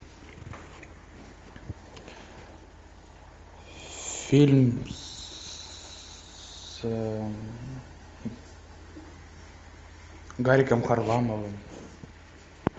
фильм с гариком харламовым